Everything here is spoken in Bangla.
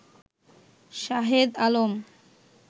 শাহেদ আলম